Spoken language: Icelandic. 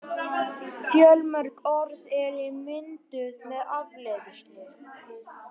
Fjölmörg orð eru mynduð með afleiðslu.